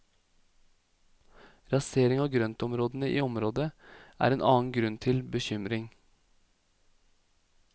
Rasering av grøntområdene i området er en annen grunn til bekymring.